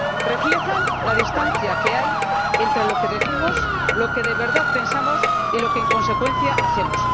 Reflejan la distancia que hay entre lo que decimos, lo que de verdad pensamos y lo que, en consecuencia, hacemos.